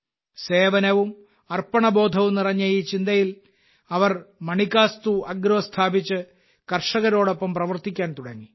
സേവനവും അർപ്പണബോധവും നിറഞ്ഞ ഈ ചിന്തയിൽ അവർ മണികാസ്തു അഗ്രോ സ്ഥാപിച്ച് കർഷകരോടൊപ്പം പ്രവർത്തിക്കാൻ തുടങ്ങി